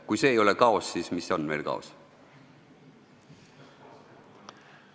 Kui see ei ole kaos, siis mis veel kaos on?